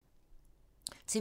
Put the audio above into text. TV 2